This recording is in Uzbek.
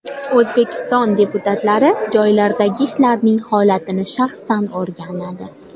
O‘zbekiston deputatlari joylardagi ishlarning holatini shaxsan o‘rganadi.